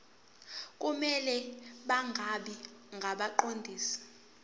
kumele bangabi ngabaqondisi